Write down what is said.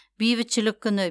бейбітшілік күні